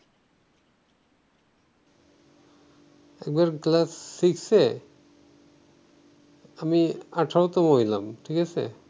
একবার ক্লাস সিক্সে আমি আঠারোতম হইলাম ঠিকাছে